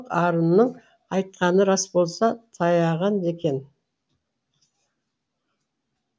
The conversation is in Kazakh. арынның айтқаны рас болса таяған екен